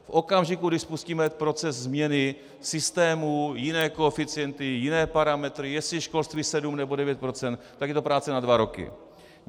V okamžiku, kdy spustíme proces změny systému, jiné koeficienty, jiné parametry, jestli školství sedm nebo devět procent, tak je to práce na dva roky.